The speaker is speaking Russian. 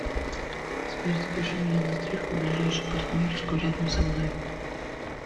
сбер запиши меня на стрижку в ближайшую парикмахерскую рядом со мной